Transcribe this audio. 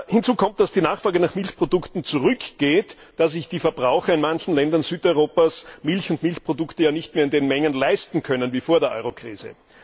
Hinzu kommt, dass die Nachfrage nach Milchprodukten zurückgeht, da sich die Verbraucher in manchen Ländern Südeuropas Milch und Milchprodukte nicht mehr in den Mengen leisten können wie vor der Eurokrise.